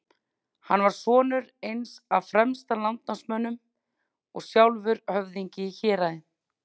Hann var sonur eins af fremstu landnámsmönnum og sjálfur höfðingi í héraði.